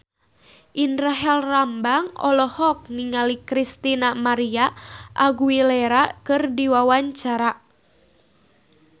Indra Herlambang olohok ningali Christina María Aguilera keur diwawancara